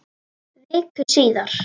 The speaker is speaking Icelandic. Viku síðar.